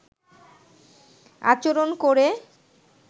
আচরন করে